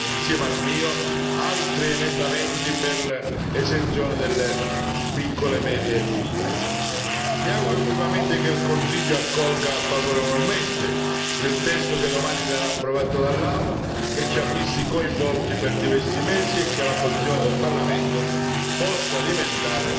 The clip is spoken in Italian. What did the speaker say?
Ribadisco che ci sono, insieme al mio, altri emendamenti per l'esenzione delle piccole e medie imprese. Mi auguro vivamente che il Consiglio accolga favorevolmente il testo che domani sarà approvato dall'Aula, che ci ha visti coinvolti per diversi mesi, e che la posizione del Parlamento